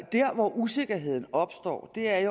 der hvor usikkerheden opstår er i